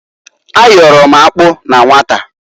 A yọrọ m akpụ na nwata.